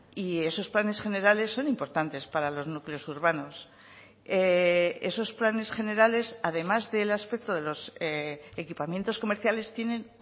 y esos planes generales son importantes para los núcleos urbanos esos planes generales además del aspecto de los equipamientos comerciales tienen